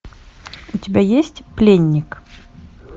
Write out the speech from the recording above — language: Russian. у тебя есть пленник